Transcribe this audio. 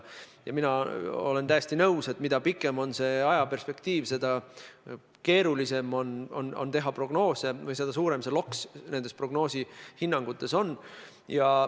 Mina olen täiesti nõus, et mida pikem on see ajaperspektiiv, seda keerulisem on teha prognoose või seda suurem loks nendes prognoosides, hinnangutes on.